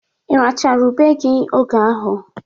Irachara ube gi oge ahụ?